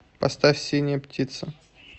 поставь синяя птица